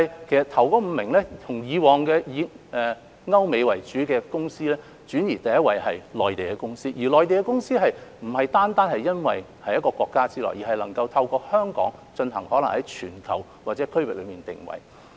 首5位已由以往以歐美公司為主，轉移到第一位是內地公司，而內地公司並不單是由於位處同一國家之內，而是能夠透過香港為其在全球或區域內作定位。